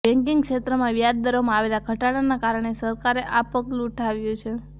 banking ક્ષેત્રમાં વ્યાજ દરોમાં આવેલા ઘટાડાના કારણે સરકારે આ પગલું ઉઠાવ્યુ છે